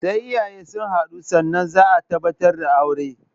Sai iyaye sun haɗu sannan zaa tabbatar da aure